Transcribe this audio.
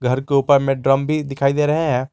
घर के ऊपर में ड्रम भी दिखाई दे रहे हैं।